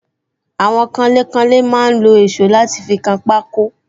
Àwọn kanlé kanlé máa ń lo èsó láti fi kan pako